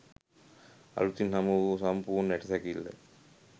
අලුතින්ම හමු වූ සම්පූර්ණ ඇටසැකිල්ල